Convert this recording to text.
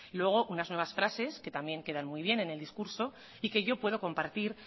luego unas nuevas frases que también queda muy bien en el discurso y que yo puedo compartir